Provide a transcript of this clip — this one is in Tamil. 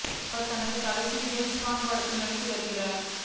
இவர் தனது கடைசி ஜேம்ஸ் பாண்ட் படத்தில் நடித்து வருகிறார்